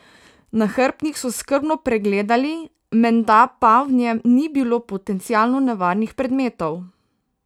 Nahrbtnik so skrbno pregledali, menda pa v njem ni bilo potencialno nevarnih predmetov.